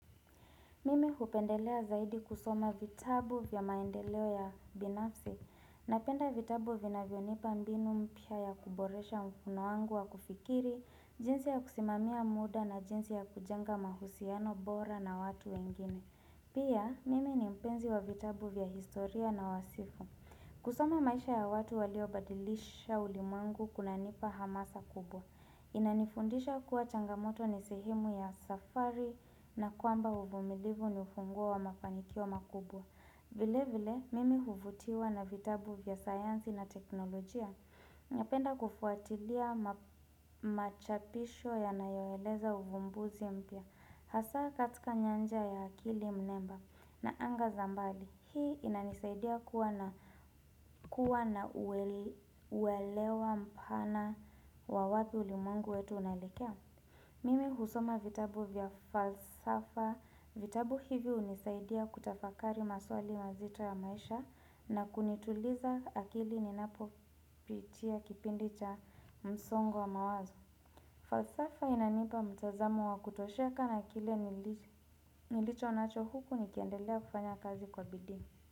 Mimi hupendelea zaidi kusoma vitabu vya maendeleo ya binafsi. Napenda vitabu vinavyonipa mbinu mpya ya kuboresha mkono wangu wa kufikiri, jinsi ya kusimamia muda na jinsi ya kujenga mahusiano bora na watu wengine. Pia, mimi ni mpenzi wa vitabu vya historia na wasifu. Kusoma maisha ya watu walio badilisha ulimwengu kunanipa hamasa kubwa. Inanifundisha kuwa changamoto ni sehemu ya safari na kwamba uvumilivu ni ufungua wa mafanikio makubwa vile vile mimi huvutiwa na vitabu vya sayansi na teknolojia Napenda kufuatilia machapisho yanayoeleza uvumbuzi mpya Hasaa katika nyanja ya akili mnemba na anga za mbali. Hii inanisaidia kuwa na uelewa mpana wa wapi ulimwengu wetu unaelekea Mimi husoma vitabu vya falsafa vitabu hivi hunisaidia kutafakari maswali mazita ya maisha na kunituliza akili ninapo pitia kipindi cha msongo wa mawazo falsafa inanipa mtazamo wa kutosheka na akili nilicho nacho huku nikiendelea kufanya kazi kwa bidii.